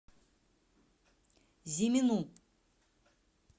зимину